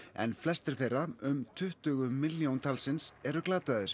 en flestir þeirra um tuttugu milljón talsins eru glataðir